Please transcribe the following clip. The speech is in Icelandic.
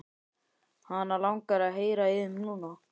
Hana langar að heyra í þeim núna.